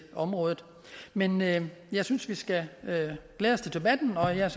området men men jeg synes at vi skal glæde os til debatten og jeg